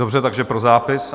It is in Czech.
Dobře, takže pro zápis.